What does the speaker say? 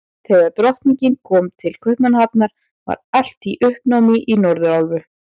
Þegar Drottningin kom til Kaupmannahafnar, var allt í uppnámi í Norðurálfu.